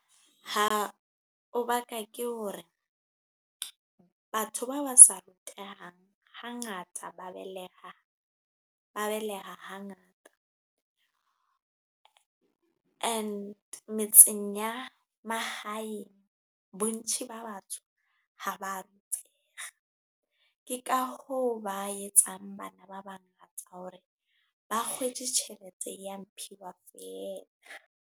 Ha o ba ka ke hore batho ba ba sa rutehang hangata ba beleha hangata and metseng ya mahaeng bontši ba batso ha ba rutega. Ke ka ho ba etsang bana ba bangata hore ba kgwetje tjhelete ya mmphiwa fela.